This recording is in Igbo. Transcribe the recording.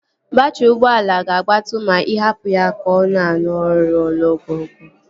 Baatrị ụgbọala ga-agbatu ma ị hapụ ya ka ọ na-arụ ọrụ ogologo oge